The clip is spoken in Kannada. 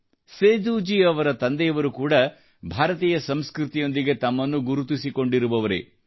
ಸೇದೂಜೀ ಅವರ ತಂದೆಯವರೂ ಕೂಡ ಭಾರತೀಯ ಸಂಸ್ಕøತಿಯೊಂದಿಗೆ ತಮ್ಮನ್ನು ಗುರುತಿಸಿಕೊಂಡಿರುವವರೇ